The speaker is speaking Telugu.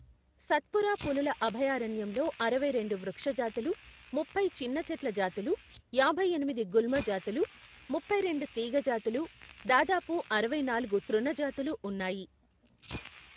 సత్పురా పులుల అభయారణ్యంలో అరవై రెండు వృక్ష జాతులు, ముప్పై చిన్న చెట్ల జాతులు, యాభై ఎనిమిది గుల్మ జాతులు, ముప్పైరెండు తీగ జాతులు, దాదాపు అరవై నాలుగు తృణ జాతులు ఉన్నాయి.